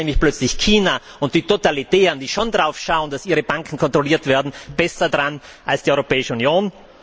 Denn dann sind plötzlich China und die Totalitären, die schon darauf achten, dass ihre Banken kontrolliert werden, besser dran als die Europäische Union.